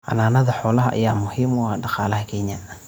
Xanaanada xoolaha ayaa muhiim u ah dhaqaalaha Kenya.